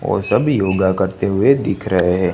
और सभी योगा करते हुए दिख रहे हैं।